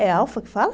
É alfa que fala?